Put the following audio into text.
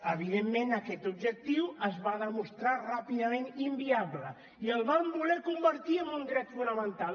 evidentment aquest objectiu es va demostrar ràpidament inviable i el van voler convertir en un dret fonamental